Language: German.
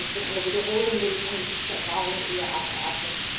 Von einer Wiederholung würde ich angesichts der Erfahrungen eher abraten.